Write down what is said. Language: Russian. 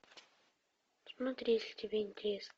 смотри если тебе интересно